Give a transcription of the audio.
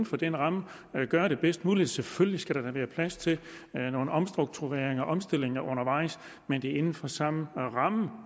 for den ramme gøre det bedst muligt selvfølgelig skal der da være plads til nogle omstruktureringer og omstillinger undervejs men det er inden for samme ramme